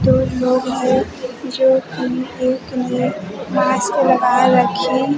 दो लोग हैं जो एकने मास्क लगाए रखी--